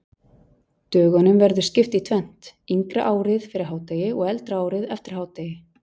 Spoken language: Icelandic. Dögunum verður skipt í tvennt, yngra árið fyrir hádegi og eldra árið eftir hádegi.